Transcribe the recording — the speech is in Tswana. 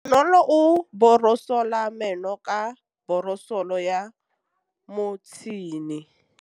Bonolô o borosola meno ka borosolo ya motšhine.